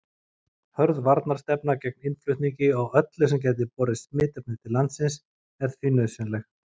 Hörð varnarstefna gegn innflutningi á öllu sem gæti borið smitefni til landsins er því nauðsynleg.